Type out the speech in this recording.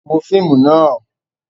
Wo fíìmù náà!